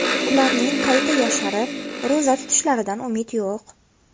Ularning qayta yosharib, ro‘za tutishlaridan umid yo‘q.